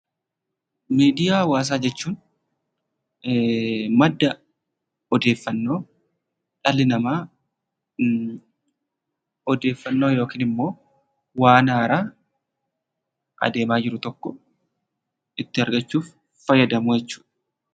Miidiyaa hawaasaa jechuun madda odeeffannoo dhalli namaa odeeffannoo yookin immoo waan haaraa adeemaa jiru tokko itti argachuuf fayyadamu jechuudha.